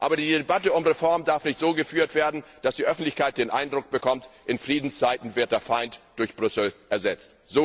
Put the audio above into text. Aber die Debatte um Reform darf nicht so geführt werden, dass die Öffentlichkeit den Eindruck bekommt, in Friedenszeiten wird der Feind durch Brüssel ersetzt.